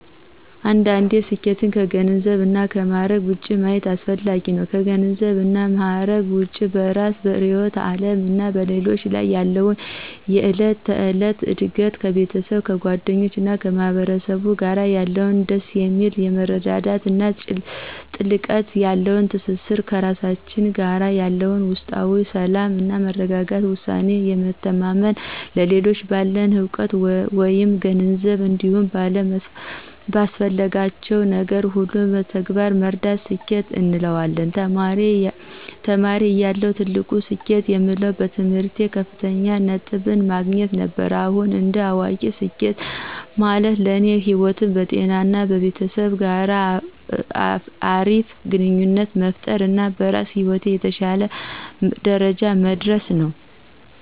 አንዳንዴ ስኬትን ከገንዘብ እና ከማዕረግ ውጭ ማየት አስፈጋጊ ነው። ከገንዘብ እና ማዕረግ ውጭ በእራስ፤ በርዕዮተ ዓለም እና በሌሎች ላይ ያለን የዕለት ተዕለት እድገት፣ ከቤተሰብ፤ ከጓደኞች እና ከማህበረሰብ ጋር ያለን ደስ የሚል የመረዳዳት እና ጥልቀት ያለው ትስስር፣ ከራሳችን ጋር ያለን ውስጣዊ ሰላም እና መረጋጋት፣ በውሳኔ የመታመን፣ ሌሎችን ባለን እውቀት መይም ገንዘብ እንዲሁም ባስፈለግናቸው ነገር ሁሉ በተግባር መርዳት ስኬት እንለዋለን። ተማሪ እያለሁ ትልቅ ስኬት የምለው በትምህርቴ ከፍተኛ ነጥብን ማግኘት ነበር። አሁን እንደ አዋቂ ስኬት ማለት ለኔ በህይወት፣ በጤና እና ቤተሰብ ጋር አሪፍ ግንኙነት መፍጠር እና በስራ ህይወት የተሸለ ደረጃ መድረስ ነው።